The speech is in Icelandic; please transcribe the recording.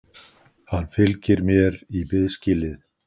Hann fylgir mér í biðskýlið.